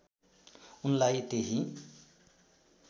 उनलाई त्यहीँ